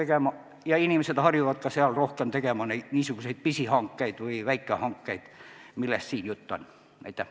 Ja küll inimesed harjuvad seal tegema ka rohkem niisuguseid pisihankeid või väikehankeid, millest siin jutt käib.